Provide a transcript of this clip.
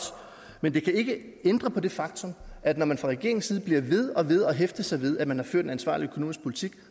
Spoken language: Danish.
men det kan ikke ændre på det faktum at når man fra regeringens side bliver ved og ved med at hæfte sig ved at man har ført en ansvarlig økonomisk politik